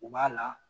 U b'a la